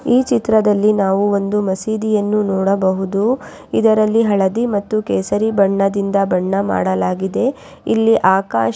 ಈ ಚಿತ್ರದಲ್ಲಿ ನಾವು ಒಂದು ಮಸೀದಿಯನ್ನು ನೋಡಬಹುದು ಇದರಲ್ಲಿ ಹಳದಿ ಮತ್ತು ಕೇಸರಿ ಬಣ್ಣದಿಂದ ಬಣ ಮಾಡಲಾಗಿದೆ ಇಲ್ಲಿ ಆಕಾಶ.